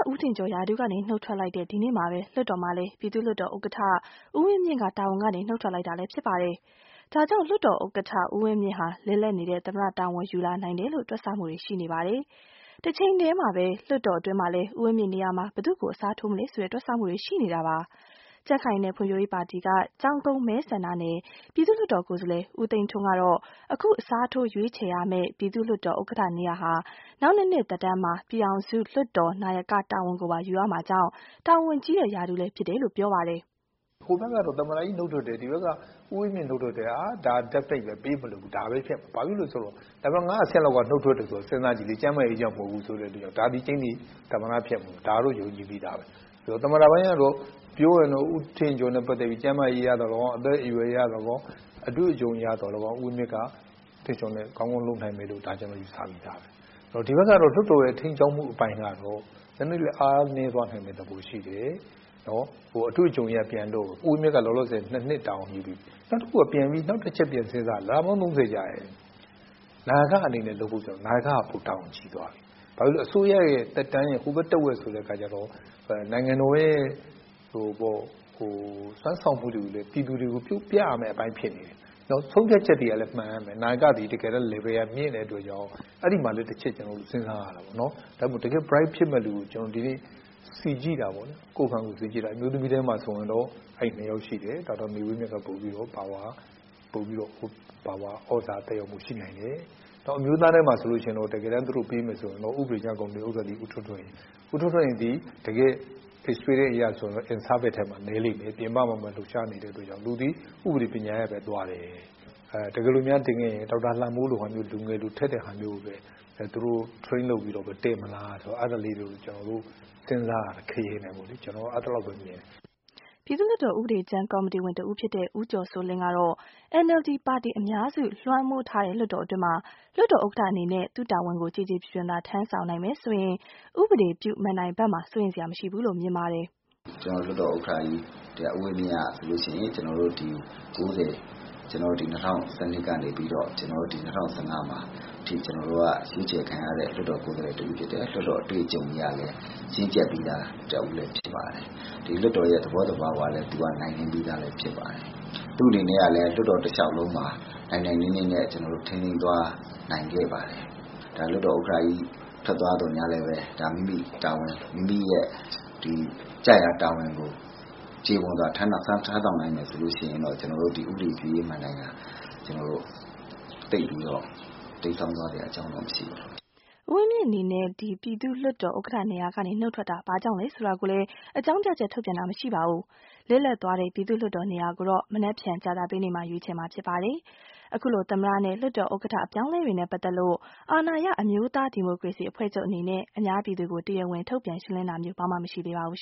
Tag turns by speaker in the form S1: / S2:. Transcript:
S1: ဦးထင်ကျော် ရာထူးကနေ နုတ်ထွက်လိုက်တဲ့ ဒီနေ့မှာပဲ၊ လွှတ်တော်မှာလည်း ပြည်သူ့လွှတ်တော်ဥက္ကဌ ဦးဝင်းမြင့်က တာဝန်ကနေ နုတ်ထွက်လိုက်ပြန်ပါတယ်။ ဒါကြောင့် လွှတ်တော်ဥက္ကဌ ဦးဝင်းမြင့်ဟာ လစ်လပ်နေတဲ့ သမ္မတ တာဝန် ယူလာနိုင်တယ် လို့ တွက်ဆမှုတွေ ရှိနေပါတယ်။ တချိန်တည်းမှာ လွှတ်တော်အတွင်းမှာ လည်း ဦးဝင်းမြင့်နေရာမှာ ဘယ်သူကို အစားထိုးမလဲ တွက်ဆမှုတွေရှိနေပါတယ်။ မအိသန့်စင်က ပြောပြမှာပါ။ ကြံခိုင်ရေးနဲ့ဖွံဖြိုးရေးပါတီက ကျောင်းကုန်းမဲဆန္ဒနယ် ပြည်သူ့လွှတ်တော်ကိုယ်စားလှယ် ဦးသိန်းထွန်းကတော့ အခု အစားထိုးရွေးချယ်ရမယ့် ပြည်သူ့လွှတ်တော် ဥက္ကဌ နေရာဟာ နောက်နှစ်နှစ် သက်တမ်းမှာ ပြည်ထောင်စုလွှတ်တော် နာယကတာဝန်ကိုပါ ယူရမှာမို့ ၊ တာဝန်ကြီးတဲ့ ရာထူးလည်းဖြစ်တယ်လို့ ဆိုပါတယ်
S2: ။ "ဟိုဘက်ကတော့ သမ္မတကြီးနုတ်ထွက်တယ် ၊ဒီဘက်ကတော့ ဦးဝင်းမြင့်နုတ်ထွက်တယ်ဆိုတော့ ဒါကပြေးမလွတ်ဘူး ဒါပဲ ဖြစ်မှာပဲ။ ဘာဖြစ်လို့လဲဆိုတော့ နံပတ် ၅ အဆင့်လောက်က နုတ်ထွက်တယ်ဆိုတော့ စဉ်းစားကြည့်လေ ကျန်မာရေးကြောင့်လဲမဟုတ်ဘူးဆိုတော့ ဒါသည် ကြိမ်းသေ သမ္မတဖြစ်မှာ ဒါကတော့ ယုံကြည်ပြီးသားပဲ။ သမ္မတပိုင်းကတော့ ပြောရင်တော့ ဦးထင်ကျော် နဲ့ ပတ်သက်ပြီး ကျန်းမာရေးအရသော်လည်းကောင်း ၊ အသက်အရွယ်အရသော်လည်းကောင်း ၊ အတွေ့အကြုံအရသော်လည်းကောင်း ဦးဝင်းမြင့်က ကောင်းကောင်းလုပ်နိုင်မယ်လို့ ကျနော်တို့ ယူဆပြီးသား။ ဒီဘက်ကတော့ လွှတ်တော်ရဲ့ ထိန်းကျောင်းမှု အပိုင်းကတော့ နည်းနည်းလေး အားနည်း သွားနိုင်မယ့် သဘောရှိတယ်။ အတွေ့အကြုံအရကတော့ ဦးဝင်းမြင့်က လောလောဆယ် ၂ နှစ်တာဝန်ယူပြီးပြီ။ နောက်တချက်ပြန်စဉ်းစားတာက နာယကအနေနဲ့ လုပ်ဖို့ နာယက က ပိုပြီးတာဝန်ကြီးသွားပြီ။ နောက်ပြီးအစိုးရ သက်တမ်းရဲ့ ဟိုဘက် တဝက်ဆိုတော့ နိုင်ငံတော်ရဲ့စွမ်းဆောင်မှုတွေကို ပြည်သူတွေကို ပြရမယ့်အပိုင်းဖြစ်နေတယ်။ ဆုံးဖြတ်ချက်သည် မှန်ရမယ် နာယက Level ကမြင့်တဲ့အတွက်ကြောင့် အဲဒီမှာလည်း ကျနေ်ာတို့ တချက်စဉ်းစားရမယ်။ ဒါကြောင့် တကယ့် Bright ဖြစ်မယ့်လူကို ကျနော်စီကြည့်တာပေါ့လေ။ အမျိုးသမီးထဲမှာတော့ ၂ ယောက်ရှိတယ် ဒေါက်တာ မေဝင်းမြင့်က ပိုပြီးတော့ သြဇာသက်ရောက်မှုရှိနိုင်တယ်။ အမျိုးသားထဲမှာတော့ တကယ်တမ်း သူတို့ပေးမယ်ဆိုရင်တော့ ဥပဒေကြမ်းကော်မတီဥက္ကဌ ဦးထွန်းထွန်းဟိန်၊ သူသည် experience အရဆိုရင်တော့ in service နည်းလိမ့်မယ် ပြင်ပမှာပဲ လှုပ်ရှားနေတဲ့အတွက်ကြောင့် သူသည် ဥပဒေပညာရပ် သွားတယ်။ တကယ်လို့များတင်ခဲ့ရင် ဒေါက်တာလှမိုးလို လူငယ်လိုထက်တဲ့ဟာမျိုးကိုပဲ သူတို့ train လုပ်ပြီးတော့ တင်မလား အဲဒါလေးတွေ ကျနော်တို့ စဉ်းစားတယ်။ကျနော်ကတော့ အဲလောက်ပဲ မြင်တယ်"
S1: ပြည်သူ့လွှတ်တော် ဥပဒေကြမ်းကော်မတီဝင် တဦးဖြစ်တဲ့ ဦးကျော်စိုးလင်းကတော့ NLD ပါတီ အများစုလွှမ်းမိုးထားတဲ့ လွှတ်တော်အတွင်း လွှတ်တော်ဥက္ကဌအနေနဲ့သူ့တာဝန်ကို ကျေကျေပြွန်ပြွန်သာ ထမ်းဆောင်နိုင်မယ်ဆိုရင် ဥပဒေပြုမဏ္ဍိုင်ဖက်မှာ စိုးရိမ်စရာမရှိဘူး လို့ မြင်ပါတယ်။
S3: "ကျတော်တို့ လွှတ်တော်ဥက္ကဌကြီး ဦးဝင်းမြင့်ကဆိုရင် ဒီ ၉၀ ရွေးကောက်ပွဲ နောက် ပြီး ၂၀၁၂ ကနေပြီးတော့ ၂၀၁၅ မှာ ရွေးချယ်ခံရတဲ့ လွှတ်တော်ကိုယ်စားလှယ် တဦးဖြစ်တယ်။ လွှတ်တော်အတွေ့အကြုံအရ လည်း ရင့်ကျက်ပြီးသား သူတယောက်ဖြစ်တယ်။ ဒီလွှတ်တော်ရဲ့ သဘောသဘာဝကိုလည်း နိုင်နင်းပြီးသား သူတယောက်ဖြစ်တယ်။ သူ့အနေနဲ့ လည်း လွှတ်တော်တလျောက်လုံးမှာ နိုင်နိုင်နင်းနင်းနဲ့ ထိန်းသိမ်းသွားနိုင်ခဲ့ပါတယ်။လွှတ်တော်ဥက္ကဌကြီး ထွက်သွားသော်လည်း မိမိရဲ့ ကျရာ တာဝန်ကို ကျေပွန်စွာ ထမ်းဆောင်နိုင်မယ်ဆိုရင် ကျနော်တို့ ဥပဒေပြုရေး မဏ္ဍိုင်သိပ်ပြီးတော့ တိမ်းစောင်းသွားစရာအကြောင်းမရှိပါဘူး
S1: ။" ဦးဝင်းမြင့်အနေနဲ့ ပြည်သူ့လွှတ်တော်ဥက္ကဌနေရာကနေ နုတ်ထွက်တာ ဘာကြောင့်လဲ ဆိုတာကိုလည်း အကြောင်းပြချက် ထုတ်ပြန်တာမရှိပါဘူး။ လစ်လပ်သွားတဲ့ ပြည်သူ့လွှတ်တော်နေရာ ကိုတော့ မနက်ဖြန် ကြာသပတေးနေ့မှာ ရွေးချယ်မှာ ဖြစ်ပါတယ်။ အခုလို သမ္မတနဲ့ လွှတ်တော်ဥက္ကဌအပြောင်းအလဲတွေနဲ့ပတ်သက်လို့ အာဏာရ အမျိုးသားဒီမိုကရေစီ အဖွဲ့ချုပ်အနေနဲ့ အများပြည်သူကို တရားဝင် ထုတ်ပြန်ရှင်းလင်း တာမျိုး ဘာမှ မရှိသေးပါဘူး